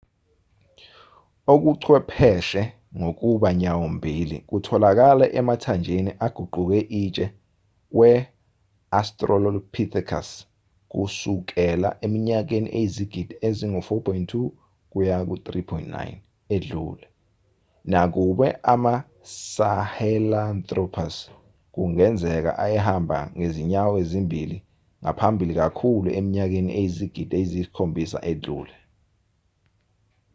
okuchwepheshe ngokuba nyawo-mbili kutholakala emathanjeni aguquke itshe we-australopithecus kusukela eminyakeni eyizigidi ezingu-4.2-3.9 edlule nakuba ama-sahelanthropus kungenzeka ayehamba ngezinyawo ezimbili ngaphambili kakhulu eminyakeni eyizigidi eziyisikhombisa edlule